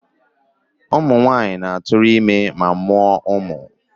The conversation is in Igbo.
Ụmụ nwanyị na-atụrụ ime ma mụọ umu.